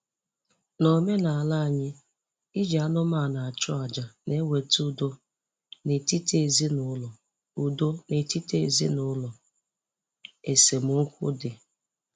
N'omenala anyị iji anụmanụ achụ àjà na-eweta udo n’etiti ezinụlọ udo n’etiti ezinụlọ esemokwu dị